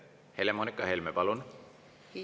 Helle-Moonika Helme, palun!